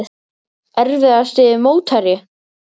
Erfiðasti mótherji?